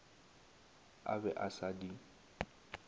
a be a sa di